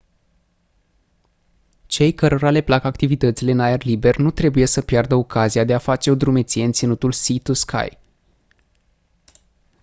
cei cărora le plac activitățile în aer liber nu trebuie să piardă ocazia de a face o drumeție în ținutul sea-to-sky